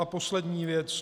A poslední věc.